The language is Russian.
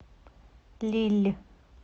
лилль